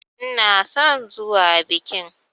Ina son zuwa bikin.